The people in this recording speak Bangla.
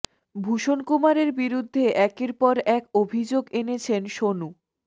ভূষণ কুমারের বিরুদ্ধে একের পর এক অভিযোগ এনেছেন সোনু